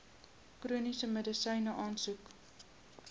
chroniese medisyne aansoek